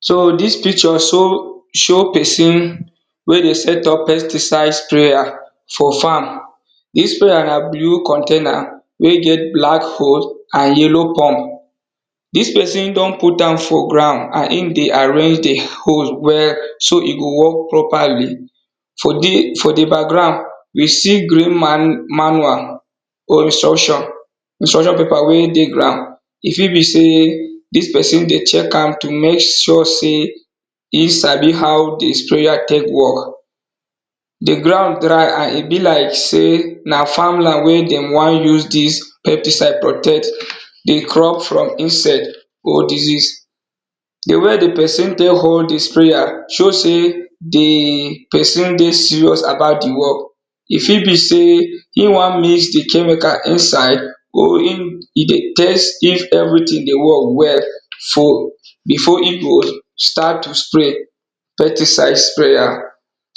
So dis picture show us pesin wey dey set up pesticide sprayer, dis sprayer na blue container wey get black hose and yello pump. Dis pesin don put am for ground and e dey arrange di hose so e go work properly. For di background, we see green manual or instruction, e fit be sey dis pesin dey check am to mek sure sey e sabi how di sprayer de tek work. Do ground dry and e be like sey na farm land wey de won use dis pesticide protect di farm from pest and diseases. D way di pesin tek hold di sprayer, show sey di pesi dey serious e fit be sey e won mix di chemical inside, e dey test how di thng dey work well before e go start to spray pesticide sprayer.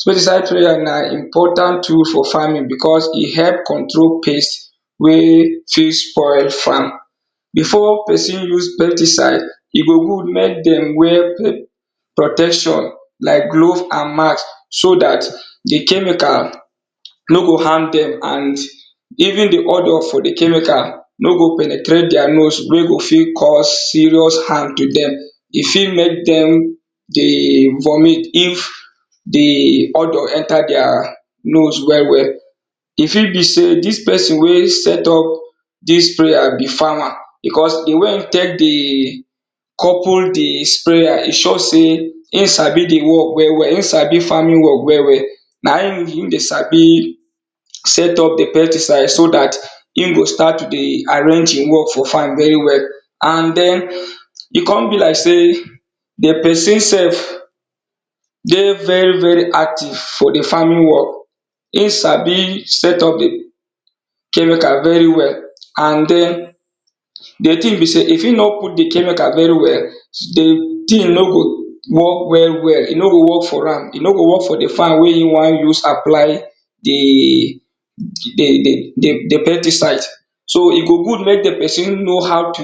Pesticide sprayer na important rule for farming because e help control pest wen fit spoil farm. Before pesin spray di pesticide, e good mek pesin wear glove and mask so dat di chemical no go harm dem, even di odor no go fit penetrate their nose andno go fit cause serious harm to dem and e fit mek dem dey vomit if di odor enter their nose well well. E fit be sey di pesin wey set up di sprayer, fit be farmer because sey di way e couple di sprayer, e show sey e sabi di farming well well, na him det set up di pesticide so dat e go start to dey arrange di farm well well. And e kon be like sey di pesin self dey very very active for di farming work, e sabi set up di chemical well well, and di thing be sey if e no put di chemical well, di thing no go work well well, e no go work for di farm, e no go work for wey e won use apply di pesticide. So e go good mek di pesin know how to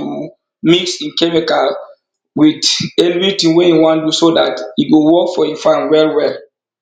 apply di chemical with eeything wey e wan do so dat e go work for di farm well well.